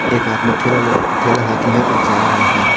एक आदमी ठेला लेके -ठेला हाथमे हैंऔर जा रहा है।